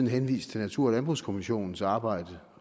henvist til natur og landbrugskommissionens arbejde